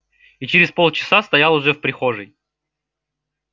и через полчаса стоял уже в прихожей